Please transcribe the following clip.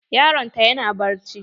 Yaron ta yana bacci.